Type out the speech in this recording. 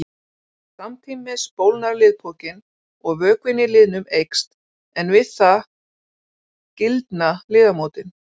Samtímis bólgnar liðpokinn og vökvinn í liðnum eykst en við það gildna liðamótin.